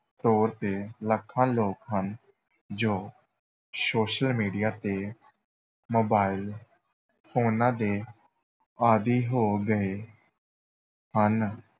ਤੌਰ ‘ਤੇ, ਲੱਖਾਂ ਲੋਕ ਹਨ ਜੋ social media ‘ਤੇ mobile ਫੋਨਾਂ ਦੇ ਆਦੀ ਹੋ ਗਏ ਹਨ।